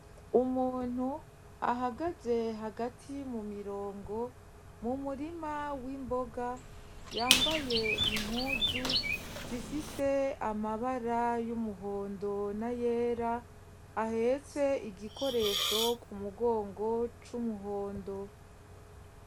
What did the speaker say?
Umuntu ahagaze hagati mu mirongo mu murima w'imboga yambaye impuzu zifise amabara y'umuhondo n'ayera ahetse igikoresho ku mugongo c'umuhondo.